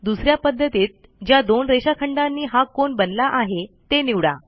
दुस या पध्दतीत ज्या दोन रेषाखंडांनी हा कोन बनला आहे ते निवडा